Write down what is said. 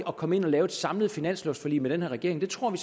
at komme ind og lave et samlet finanslovforlig med den her regering det tror vi